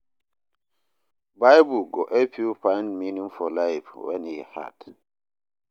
Bible go help yu find meaning for life wen e hard.